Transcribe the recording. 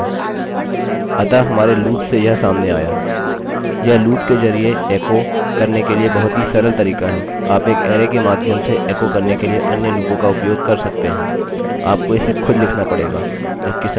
अतः हमारे लूपloop से यह सामने आया यह लूपloop के जरिये एकोecho करने के लिए बहुत ही सरल तरीका है आप एक अरैarray के माध्यम से एकोecho करने की लिए अन्य लूपोंloops का उपयोग कर सकते हैं आप को इसे खुद लिखना पड़ेगा जबकि संभवतः यह करने के लिए यह सबसे सरल तरीका है